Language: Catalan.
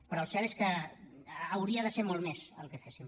però el cert és que hauria de ser molt més el que féssim